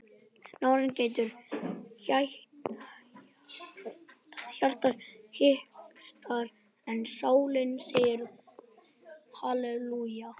Nárinn grætur, hjartað hikstar en sálin segir halelúja.